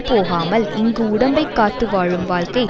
போகாமல் இங்கு உடம்பைக் காத்துவாழும் வாழ்க்கை